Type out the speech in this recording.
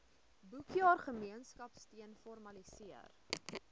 boekjaar gemeenskapsteun formaliseer